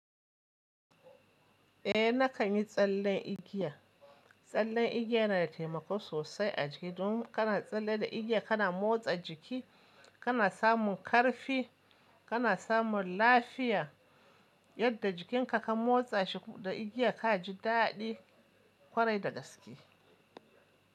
Eh nakan yi tsallen igiya. Tsallen igiya yana da taimako sosai a jiki. Domin kana tsalle da igiya kana motsa jiki, kana samun ƙarfi, kana samun lafiya, yadda jikinka ka motsa shi da igiya ka ji daɗi ƙwarai da gaske.